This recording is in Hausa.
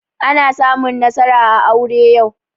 Ana samun nasara a aure yau